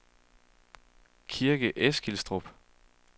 Kirke Eskilstrup